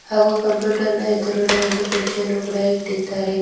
ಹಾಗು ಕಂಪ್ಯೂಟರ್ನ ಎದ್ರುಗಡೆ ಕುರ್ಚಿಯನ್ನು ಕೂಡ ಇಟ್ಟಿದ್ದಾರೆ.